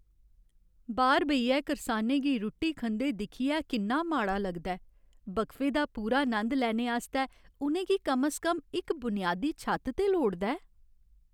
बाह्‌र बेहियै करसानें गी रुट्टी खंदे दिक्खियै किन्ना माड़ा लग्गा दा ऐ। वक्फे दा पूरा नंद लैने आस्तै उ'नें गी कम स कम इक बुनियादी छत्त ते लोड़दा ऐ।